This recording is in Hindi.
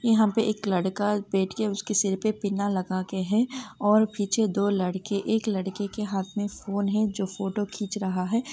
एक लड़का बैठ करके उसका पिनअप लग रहा ह और पीछे दो लड़के हाथ में फोन है जो फोटो खीच रहा है।